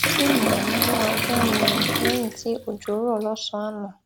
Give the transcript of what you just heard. tí mò n mú ajá mi rìn léyìn tí òjò rò lósànán àná